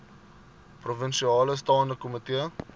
provinsiale staande komitee